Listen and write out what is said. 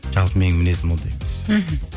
жалпы менің мінезім ондай емес мхм